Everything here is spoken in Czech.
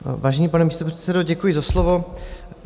Vážený pane místopředsedo, děkuji za slovo.